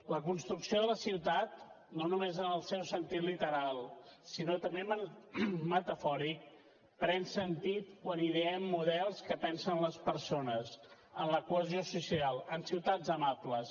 la construcció de la ciutat no només en el seu sentit literal sinó també metafòric pren sentit quan ideem models que pensen les persones en la cohesió social en ciutats amables